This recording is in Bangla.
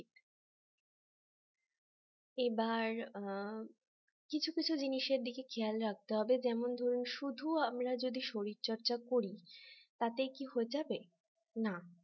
এবার অ্যাঁ কিছু কিছু জিনিসের দিকে খেয়াল রাখতে হবে যেমন ধরুন শুধু আমরা যদি শরীরচর্চা করি তাতে কি হয়ে যাবে না